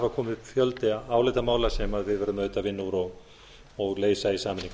hafa komið upp fjöldi álitamála sem við verðum auðvitað að vinna úr og leysa í sameiningu